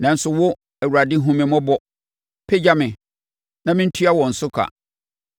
Nanso wo, Awurade, hunu me mmɔbɔ; pagya me, na mentua wɔn so ka.